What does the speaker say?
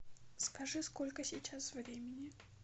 скажи сколько сейчас времени